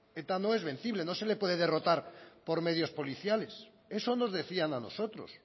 eta no es vencible no se le puede derrotar por medios policiales eso nos decían a nosotros